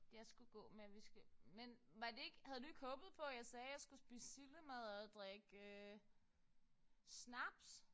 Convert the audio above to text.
Jeg skulle gå med vi skal men var det ikke havde du ikke håbet på jeg sagde jeg skulle spise sildemadder og drikke snaps?